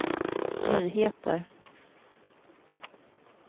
nyheter